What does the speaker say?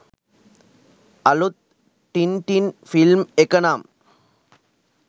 අලුත් Tintin film එක නම්